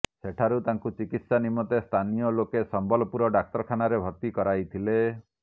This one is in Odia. ସେଠାରୁ ତାଙ୍କୁ ଚିକିତ୍ସା ନିମନ୍ତେ ସ୍ଥାନୀୟ ଲୋକେ ସମ୍ବଲପୁର ଡାକ୍ତରଖାନାରେ ଭର୍ତ୍ତି କରାଇଥିଲେ